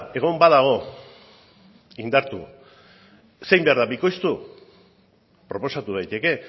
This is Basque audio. egon badago indartu ze egin behar da bikoiztu proposatu daiteke